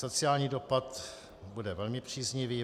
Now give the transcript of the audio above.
Sociální dopad bude velmi příznivý.